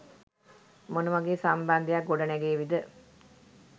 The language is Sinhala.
මොන වගේ සම්බන්ධයක් ගොඩනැගේවිද?